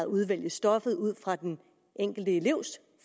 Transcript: udvælge stoffet ud fra den enkelte elevs